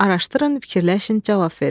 Araşdırın, fikirləşin, cavab verin.